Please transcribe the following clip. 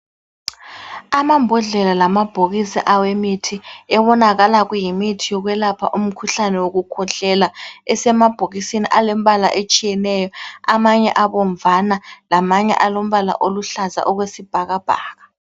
Amambodlela lamabhokisi awemithi ebonakala kuyimithi yokwelapha umkhuhlane wokukhwehlela, esemabhokisini alembala etshiyeneyo, amanye abomvana lamanye alombala oluhlaza okwesibhakabhaka.